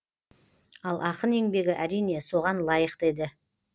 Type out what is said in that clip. ал ақын еңбегі әрине соған лайық та еді